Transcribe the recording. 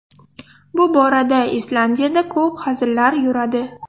Bu borada Islandiyada ko‘p hazillar yuradi.